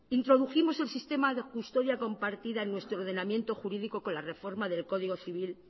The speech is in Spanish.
introdujimos el sistema de custodia compartida en nuestro ordenamiento jurídico con la reforma del código civil